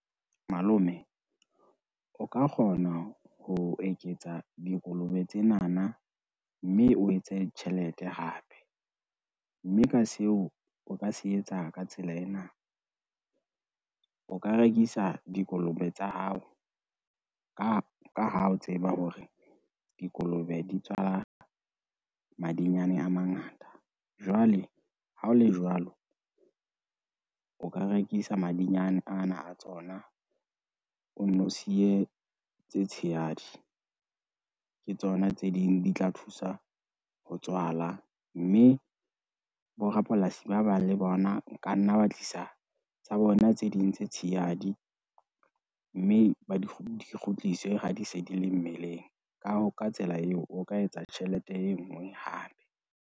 Malome, o ka kgona ho eketsa dikolobe tsenana, mme o etse tjhelete hape. Mme ka seo o ka se etsa ka tsela ena, o ka rekisa dikolobe tsa hao ka ha o tseba hore dikolobe di tswala madinyane a mangata jwale hao le jwalo, o ka rekisa madinyane ana a tsona, o nno siye tse tshehadi. Ke tsona tse ding di tla thusa ho tswala mme, borapolasi ba bang le bona o ka nna wa tlisa tsa bona tse ding tse tshehadi mme, di kgutliswe ha di se di le mmeleng ka hoo ka tsela eo o ka etsa tjhelete e ngwe hape.